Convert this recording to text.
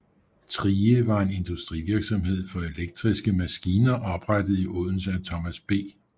Thrige var en industrivirksomhed for elektriske maskiner oprettet i Odense af Thomas B